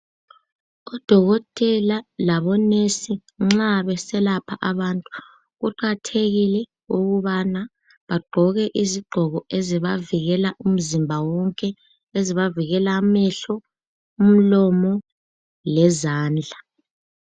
U dokotela labo nurse nxa beselapha abantu kuqakathekile ukubana bagqoke izigqoko ezibavikela umzimba wonke ezibavikela amehlo umlomo lezandla.